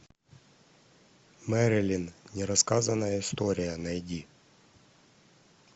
мэрилин нерассказанная история найди